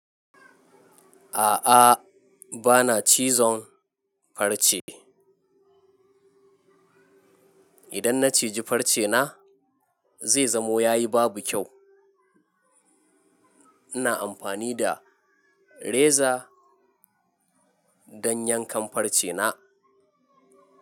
A'a, ba na cizon farce. Idan na ciji farce na zai zamo ya yi babu kyau. Ina amfani da reza don yankan farce na.